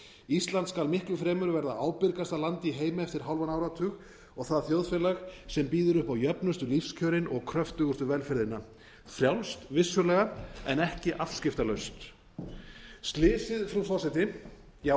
ísland skal miklu fremur verða ábyrgasta land í heimi eftir hálfan áratug og það þjóðfélag sem býður upp á jöfnustu lífskjörin og kröftugustu velferðina frjálst vissulega en ekki afskiptalaust slysið frú forseti já